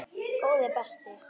Góði besti!